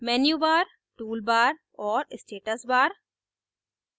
menu bar toolbar और status bar